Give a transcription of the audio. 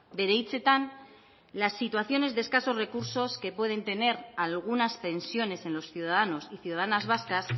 bere hitzetan las situaciones de escasos recursos que pueden tener algunas pensiones en los ciudadanos y ciudadanas vascas